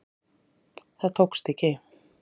Það tókst ekki